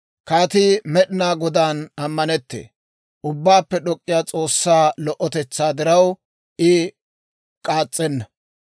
Kaatii Med'inaa Godaan ammanettee. Ubbaappe D'ok'k'iyaa S'oossaa lo"otetsaa diraw, I k'aas'enna.